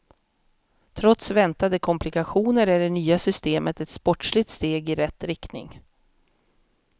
Trots väntande komplikationer är det nya systemet ett sportsligt steg i rätt riktning.